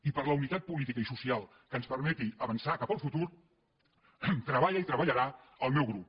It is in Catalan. i per la unitat política i social que ens permeti avançar cap al futur treballa i treballarà el meu grup